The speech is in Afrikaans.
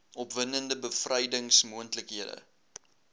opwindende bevrydings moontlikhede